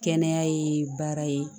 Kɛnɛya ye baara ye